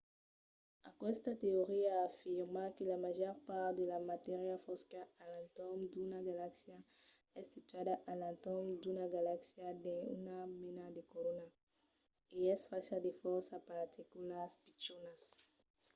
aquesta teoria afirma que la màger part de la matéria fosca a l’entorn d’una galaxia es situada a l’entorn d’una galaxia dins una mena de corona e es facha de fòrça particulas pichonas